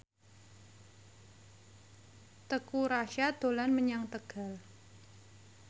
Teuku Rassya dolan menyang Tegal